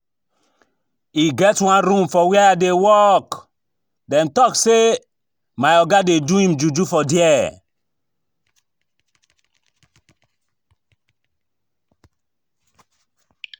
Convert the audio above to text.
E get one room for where I dey work, dem talk say my oga dey do im juju for there